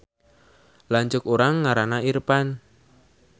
Lanceuk urang ngaranna Irpan